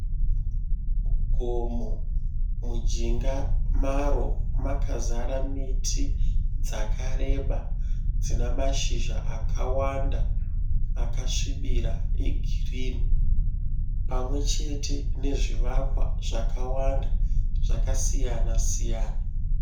Gomo mujinga maro makazara miti dzakareba dzinamashizha akawanda akasvibira egirini pamwe chete nezvivakwa zvakawanda zvakasiyana-siyana.